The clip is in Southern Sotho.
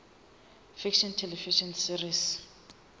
fiction television series